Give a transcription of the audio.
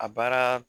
A baara